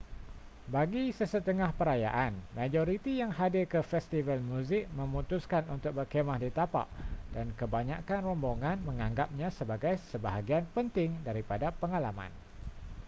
bagi sesetengah perayaan majoriti yang hadir ke festival muzik memutuskan untuk berkhemah di tapak dan kebanyakkan rombongan menganggapnya sebagai sebahagian penting daripada pengalaman